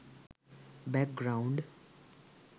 back ground